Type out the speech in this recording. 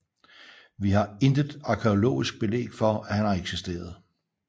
Vi har intet arkæologisk belæg for at han har eksisteret